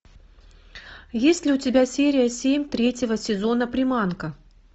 есть ли у тебя серия семь третьего сезона приманка